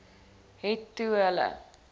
het toe hulle